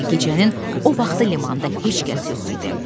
Gecənin o vaxtı limanda heç kəs yox idi.